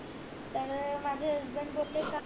तर माझे husband बोले का